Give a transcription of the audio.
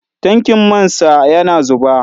Tankin man sa yana zuba.